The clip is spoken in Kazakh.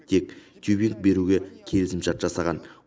тек тюбинг беруге келісімшарт жасаған